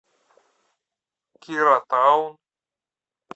кира таун